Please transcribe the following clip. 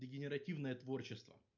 дегенеративное творчество